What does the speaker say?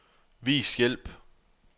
Vis hjælp.